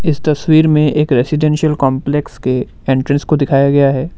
इस तस्वीर में एक रेजिडेंशियल कॉम्लेक्स के एंट्रेंस को दिखाया गया है।